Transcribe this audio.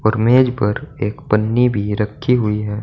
और मेज पर एक पन्नी भी रखी हुई है।